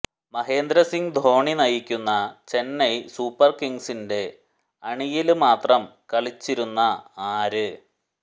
മഹേന്ദ്രസിംഗ് ധോണി നയിക്കുന്ന ചെന്നൈ സൂപ്പര് കിംഗ്സിന്റെ അണിയില് മാത്രം കളിച്ചിരുന്ന ആര്